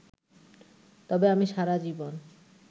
তবে আমি সারা জীবন